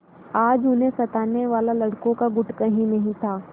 आज उन्हें सताने वाला लड़कों का गुट कहीं नहीं था